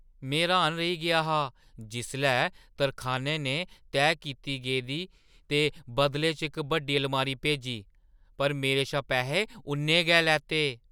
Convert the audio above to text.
में र्‌हाना रेही गेआ हा जिसलै तरखानै ने तैऽ कीती गेदी दे बदलै इक बड्डी अलमारी भेजी, पर मेरे शा पैहे उन्ने गै लैते।